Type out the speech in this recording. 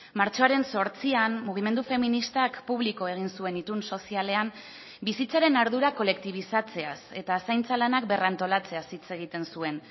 martxoaren zortzian mugimendu feministak publiko egin zuen itun sozialean bizitzaren ardura kolektibizatzeaz eta zaintza lanak berrantolatzeaz hitz egiten zuen